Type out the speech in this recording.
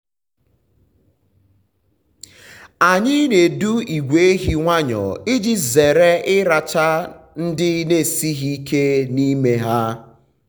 anyị na-edu ìgwè ehi nwayọọ iji zere ịracha um ndị na-esighi ike n’ime ha.